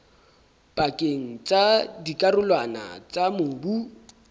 pakeng tsa dikarolwana tsa mobu